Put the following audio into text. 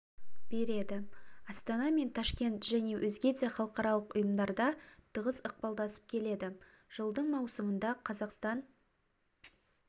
береді астана мен ташкент және өзге де халықаралық ұйымдарда тығыз ықпалдасып келеді жылдың маусымында қазақстан